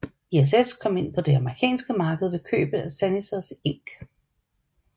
ISS kom ind på det amerikanske marked ved købet af Sanitors Inc